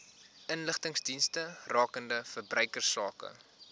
inligtingsdienste rakende verbruikersake